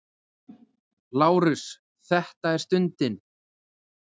LÁRUS: Þetta er stundin!